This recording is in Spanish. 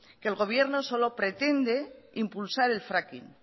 que el gobierno solo pretende impulsar el fracking